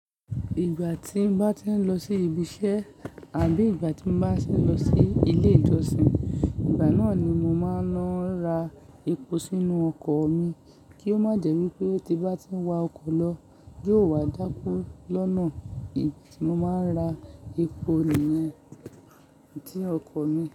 Ìgbà tí n bá ti ń lọ sí ibi iṣẹ́ àbí ìgbà tí mo bá ti ń lọ sí ilé ìjọsìn, ìgbà náà ni mo máa ń lọ ra epo sínú ọkọ̀ mi kí ó má jẹ́ wípé tí n bá ti ń wa ọkọ̀ lọ, yóò wá dákú lọ́nà. Mo máa ń ra epo nìyen nti ọkọ̀ mi.